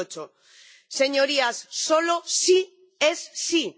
2008. Señorías, solo sí es sí.